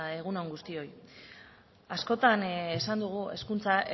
egun on guztioi askotan esan dugu hezkuntza